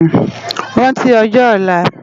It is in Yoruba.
Ránti òjò òlá